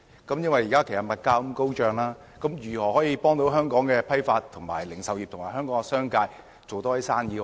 由於現時物價高漲，當局如何協助香港的批發、零售業和商界增加生意額？